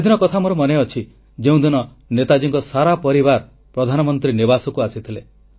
ସେଦିନ କଥା ମୋର ମନେ ଅଛି ଯେଉଁଦିନ ନେତାଜୀଙ୍କ ସାରା ପରିବାର ପ୍ରଧାନମନ୍ତ୍ରୀ ନିବାସକୁ ଆସିଥିଲେ